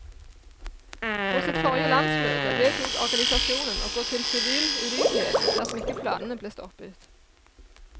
På sitt forrige landsmøte vedtok organisasjonen å gå til sivil ulydighet dersom ikke planene ble stoppet.